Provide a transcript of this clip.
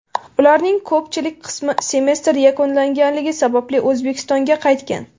Ularning ko‘pchilik qismi semestr yakunlanganligi sababli O‘zbekistonga qaytgan.